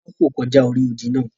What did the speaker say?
Tola n fò kọjá ori òdì náà.